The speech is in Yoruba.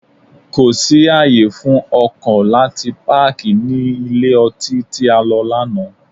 Kò sí ààyè fún ọkọ̀ láti páàkì ní ilé ọtí tí a lọ lánàá.